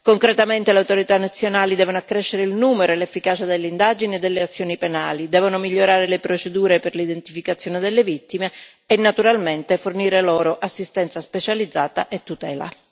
Concretamente le autorità nazionali devono accrescere il numero e l'efficacia delle indagini e delle azioni penali, devono migliorare le procedure per l'identificazione delle vittime e, naturalmente, fornire loro assistenza specializzata e tutela.